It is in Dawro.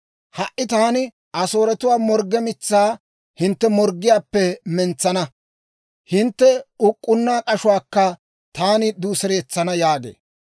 Ha"i taani Asooretuwaa morgge mitsaa hintte morggiyaappe mentsana; hintte uk'k'unna k'ashuwaakka taani duuseretsana» yaagee.